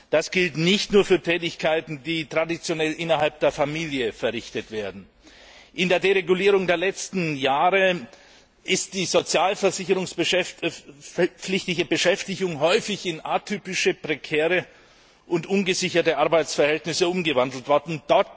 Das gilt nicht nur für Tätigkeiten, die traditionell innerhalb der Familie verrichtet werden. In der Deregulierung der letzten Jahre ist die sozialversicherungspflichtige Beschäftigung häufig in atypische, prekäre und ungesicherte Arbeitsverhältnisse umgewandelt worden.